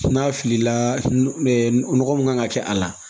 N'a filila nɔgɔ min kan ka kɛ a la